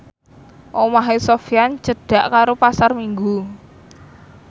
omahe Sofyan cedhak karo Pasar Minggu